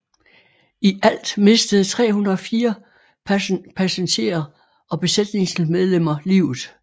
I alt mistede 304 passengerer og besætningsmedlemmer livet